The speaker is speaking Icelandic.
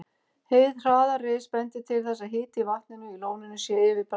Hið hraða ris bendir til þess, að hiti í vatninu í lóninu sé yfir bræðslumarki.